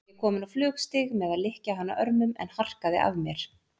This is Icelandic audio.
Þá var ég kominn á flugstig með að lykja hana örmum, en harkaði af mér.